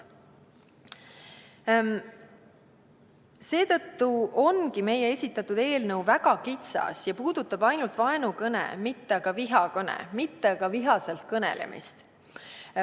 " Seetõttu ongi meie esitatud eelnõu väga kitsas ja puudutab ainult vaenukõne, mitte aga vihakõne, vihaselt kõnelemist.